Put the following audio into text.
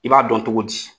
I b'a dɔn cogo di